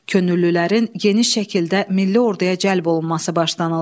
Könüllülərin geniş şəkildə milli orduya cəlb olunması başlanıldı.